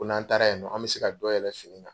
Ko n'an taara yen nɔ ,an bɛ se ka dɔ yɛlɛ fini na.